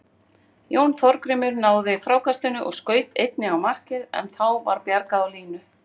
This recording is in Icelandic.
Jón Þorgrímur náði frákastinu og skaut einnig á markið en þá var bjargað á línu.